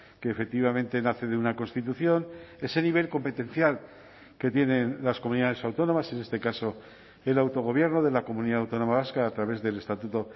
que efectivamente nace de una constitución ese nivel competencial que tienen las comunidades autónomas en este caso el autogobierno de la comunidad autónoma vasca a través del estatuto